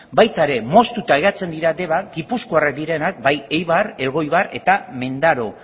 baita ere moztuta geratzen dira deban gipuzkoarrak direnak bai eibar elgoibar eta mendaro